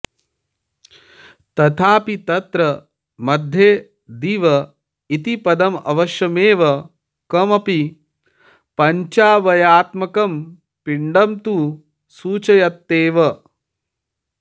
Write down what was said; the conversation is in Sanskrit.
तथापि तत्र मध्ये दिव इति पदमवश्यमेव कमपि पञ्चावयवात्मकं पिण्डं तु सूचयत्येव